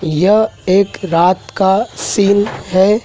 यह एक रात का सीन है।